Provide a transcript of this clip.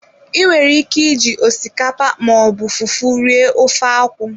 I nwere ike iji osikapa ma ọ bụ fufu rie ofe akwụ.